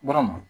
Dɔrɔn